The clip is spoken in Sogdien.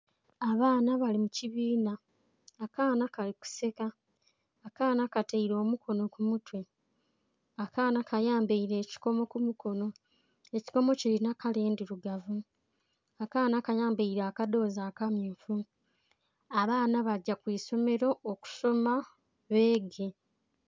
Abaana bali mu kibiina akaana kali ku seka, akaana kataire omukono ku mutwe, akaana kayambaire ekikomo ku mukonho ekikomo kilinha kala endhirugavu. Akaana kayambaire akadhozi aka myufu abaana bagya kwisomero okusoma beege.